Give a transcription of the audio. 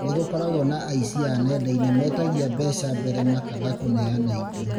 Nĩ gũkoragwo na aici a nenda-inĩ metagia mbeca mbere makaga kũneana indo